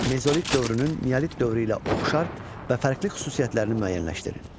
Mezolit dövrünün neolit dövrü ilə oxşar və fərqli xüsusiyyətlərini müəyyənləşdirin.